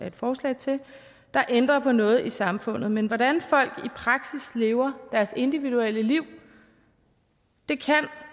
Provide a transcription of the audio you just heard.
et forslag til der ændrer på noget i samfundet men hvordan folk i praksis lever deres individuelle liv kan